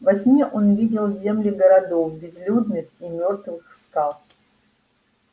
во сне он видел земли городов безлюдных и мёртвых скал